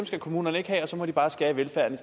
skal kommunerne ikke have og så må de bare skære i velfærden